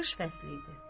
Qış fəsli idi.